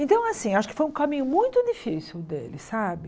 Então, assim, acho que foi um caminho muito difícil o dele, sabe?